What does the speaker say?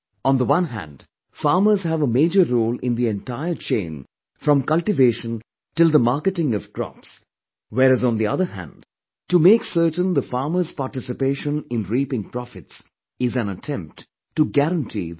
On one hand, farmers have a major role in the entire chain from cultivation till the marketing of crops, whereas on the other hand, to make certain the farmers' participation in reaping profits is an attempt to guarantee their right